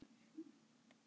Er of náið samband?